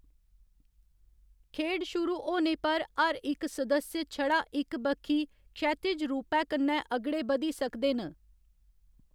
खेढ शुरू होने पर हर इक सदस्य छड़ा इक बक्खी, क्षैतिज रूपै कन्नै अगड़े बधी सकदे न।